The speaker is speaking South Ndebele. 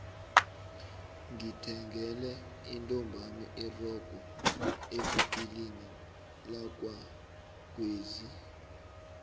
ngithengele intombami irogo evikilini lakwagwezi